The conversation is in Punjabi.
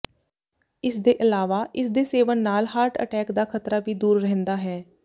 ਇਸ ਦੇ ਇਲਾਵਾ ਇਸ ਦੇ ਸੇਵਨ ਨਾਲ ਹਾਰਟ ਅਟੈਕ ਦਾ ਖ਼ਤਰਾ ਵੀ ਦੂਰ ਰਹਿੰਦਾ ਹੈ